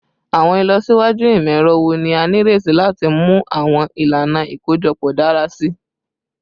Awọn ilọsiwaju imọ-ẹrọ wo ni a nireti lati mu awọn ilana ikojọpọ dara si?